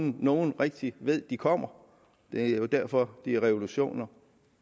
nogen rigtig ved at de kommer det er jo derfor de er revolutioner